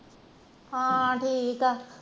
ਹਨ ਠੀਕ ਆ